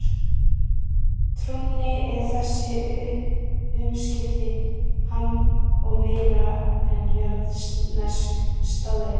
Trúnni eru þessi umskipti annað og meira en jarðnesk staðreynd.